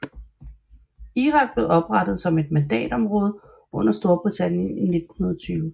Irak blev oprettet som et mandatområde under Storbritannien i 1920